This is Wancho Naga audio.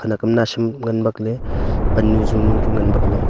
akama nawsam ngan bakley pannu jonu chu ngan bakley.